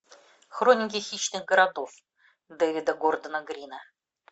хроники хищных городов дэвида гордона грина